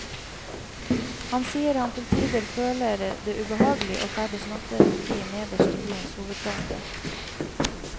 Han sier han til tider føler det ubehagelig å ferdes nattetid nederst i byens hovedgate.